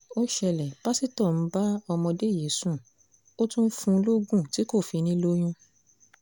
ó ṣẹlẹ̀ pásítọ̀ ń bá ọmọdé yìí sùn ó tún ń fún un lóògùn tí kò fi ní i lóyún